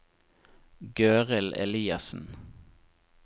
Gøril Eliassen